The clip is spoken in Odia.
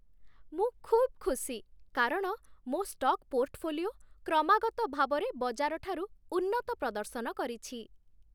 ମୁଁ ଖୁବ୍ ଖୁସି କାରଣ ମୋ ଷ୍ଟକ୍ ପୋର୍ଟଫୋଲିଓ କ୍ରମାଗତ ଭାବରେ ବଜାର ଠାରୁ ଉନ୍ନତ ପ୍ରଦର୍ଶନ କରିଛି